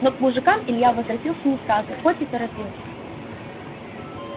но к мужикам илья возвратился не сразу хоть и торопился